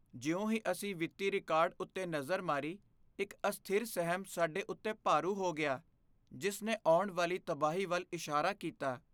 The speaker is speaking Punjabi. ਜਿਉਂ ਹੀ ਅਸੀਂ ਵਿੱਤੀ ਰਿਕਾਰਡ ਉੱਤੇ ਨਜ਼ਰ ਮਾਰੀ, ਇੱਕ ਅਸਥਿਰ ਸਹਿਮ ਸਾਡੇ ਉੱਤੇ ਭਾਰੂ ਹੋ ਗਿਆ, ਜਿਸ ਨੇ ਆਉਣ ਵਾਲੀ ਤਬਾਹੀ ਵੱਲ ਇਸ਼ਾਰਾ ਕੀਤਾ।